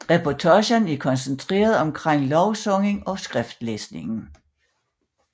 Reportagen er koncentreret omkring lovsangen og skriftlæsningen